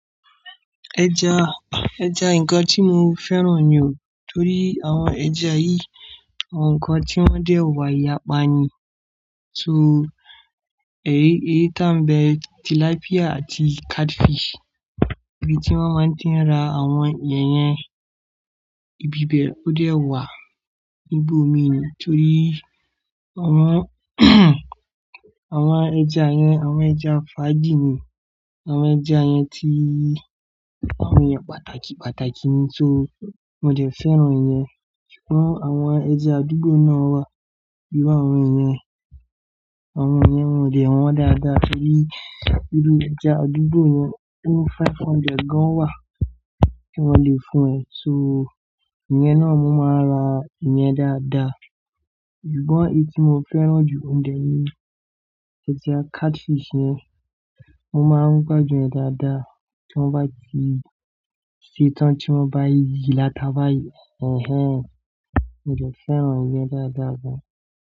Ẹja, ẹja nǹkan tí mo fẹ́ràn ni o torí àwọn ẹja yìí àwọn nǹkan tí wọ́n dẹ́ wà-ìyápà ni. So ẹ̀yi, èyí tá ń bẹ tilápíà àti catfish, ibi tí wọ́n máa tí ń ra àwọn ìyẹn ibibẹ̀ ó dẹ́ ọ̀wà níbi omi nítorí àwọn, àwọn ẹja yẹn àwọn ẹja fájì ni. Àwọn ẹja yẹn ti àwọn ẹ̀yàn pàtàkì pàtàkì ni so mó dẹ fẹ́ràn ìyẹn. Ṣùgbọ́n àwọn ẹja àdúgbò náà wà, ìru àwọn iyẹn, àwọn iyẹn wọ́n dẹ́ wọn dáadáa torí inú ẹja àdúgbò yẹn oni 500 gan wà tí wọ́n lè fún ẹ. So ìyẹn náà mo máa ń ra ìyẹn dáadáa. Ṣùgbọ́n èyí tí mo fẹ́ràn jù oun de ni ẹja catfish yẹn, mọ́ máa ń gbádùn ẹ̀ dáadáa tí wọ́n bá ti ṣe tán tí wọ́n bá yí i lata bá yẹ ẹnhẹn. Mó dẹ fẹ́ràn ìyẹn dáadáa gan.